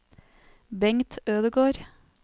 Bengt Ødegård